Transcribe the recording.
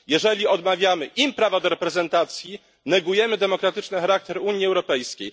Jeżeli odmawiamy im prawa do reprezentacji, negujemy demokratyczny charakter Unii Europejskiej.